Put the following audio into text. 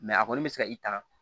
a kɔni bɛ se ka i ta